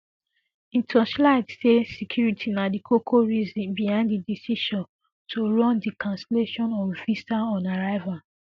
e torchight say security na di koko reason behind di decision um to run um di cancellation of visaonarrival